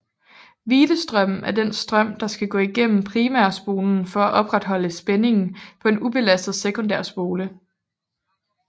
Hvilestrømmen er den strøm der skal gå gennem primærspolen for at opretholde spændingen på en ubelastet sekundærspole